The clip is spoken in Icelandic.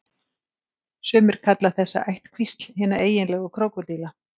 Sumir kalla þessa ættkvísl hina eiginlegu krókódíla.